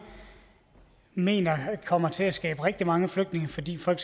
mener kommer til at skabe rigtig mange flygtninge fordi folk